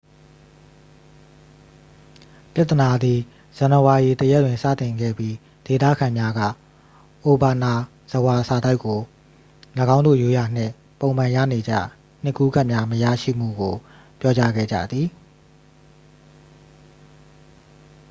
ပြဿနာသည် ဇန်နဝါရီ 1ရက်တွင် စတင်ခဲ့ပြီး ဒေသခံများက အိုဘာနာဇဝါ စာတိုက်ကို ၎င်းတို့ ရိုးရာနှင့် ပုံမှန်ရနေကျ နှစ်ကူးကတ်များမရရှိမှုကို ပြောကြားခဲ့ကြသည်